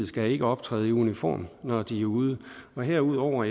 skal optræde i uniform når de er ude og herudover